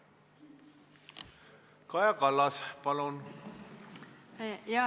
Kaja Kallas, palun!